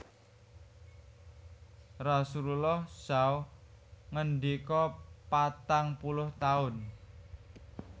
Rasulullah saw ngendika Patang puluh taun